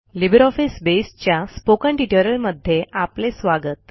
LibreOffice Base च्या spoken ट्युटोरियलमध्ये आपले स्वागत